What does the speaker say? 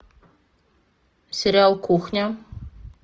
сериал кухня